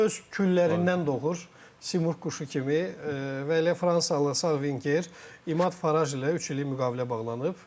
Öz küllərindən doğur Simurq quşu kimi və elə fransalı sağ vinger İməd Fərəj ilə üç illik müqavilə bağlanıb.